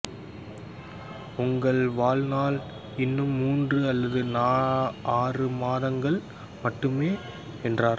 உங்களின் வாழ்நாள் இன்னும் மூன்று அல்லது ஆறு மாதங்கள் மட்டுமே என்றனர்